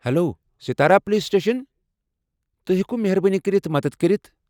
Hello, Satara police station, تُہۍ ہیٚکِوٕ مہربٲنی کٔرِتھ مدتھ کٔرتھ؟